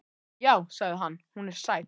Já, sagði hann, hún er sæt.